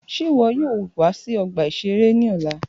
Ṣe iwọ yoo wa si ọgba-iṣere ere ni ọla?